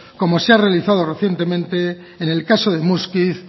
como se ha realizado recientemente en el caso de muskiz